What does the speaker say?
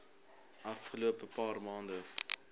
afgelope paar maande